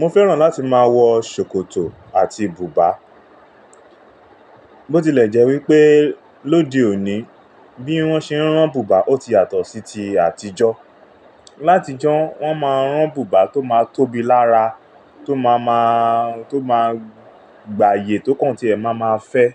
Mo fẹ́ràn láti máa wọ ṣòkòtò àti bùbá. Ó ti lẹ̀ jẹ́ wípé lóde òní bí wọ́n ṣe ń rán bùbá ó ti yàtọ̀ sí ti àtijọ́. Látijọ́ wọ́n máa ń rán bùbá tó máa tóbi lára, tó máa ma-- tó máa gbàyè tó kàn tí ẹ máa ma fẹ́.